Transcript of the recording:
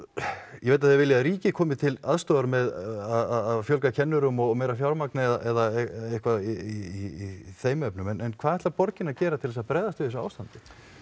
ég veit að þið viljið að ríkið komi til aðstoðar með að fjölga kennurum og meira fjármagni eða eitthvað í þeim efnum en hvað ætlar borgin að gera til að bregðast við þessu ástandi